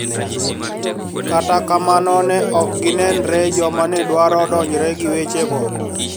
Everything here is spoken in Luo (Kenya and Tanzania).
Kata kamano ne ok ginenre joma ne dwaro donjre gi weche go